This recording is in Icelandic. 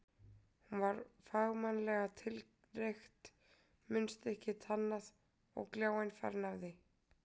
Hún var fagmannlega tilreykt, munnstykkið tannað og gljáinn farinn af því.